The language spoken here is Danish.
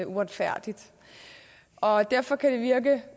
uretfærdigt derfor kan det virke